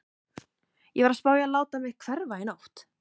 Ég var að spá í að láta mig hverfa í nótt.